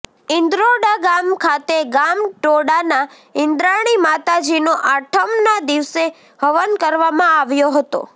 ઇન્દ્રોડા ગામ ખાતે ગામ ટોડાના ઈન્દ્રાણી માતાજીનો આઠમના દિવસે હવન કરવામાં આવ્યો હતો